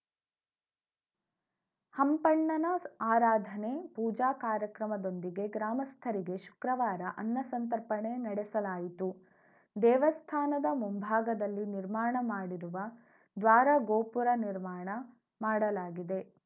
ಹಂಪಣ್ಣನ ಆರಾಧನೆ ಪೂಜಾ ಕಾರ್ಯಕ್ರಮದೊಂದಿಗೆ ಗ್ರಾಮಸ್ಥರಿಗೆ ಶುಕ್ರವಾರ ಅನ್ನ ಸಂತರ್ಪಣೆ ನಡೆಸಲಾಯಿತು ದೇವಸ್ಥಾನದ ಮುಂಭಾಗದಲ್ಲಿ ನಿರ್ಮಾಣ ಮಾಡಿರುವ ದ್ವಾರ ಗೋಪುರ ನಿರ್ಮಾಣ ಮಾಡಲಾಗಿದೆ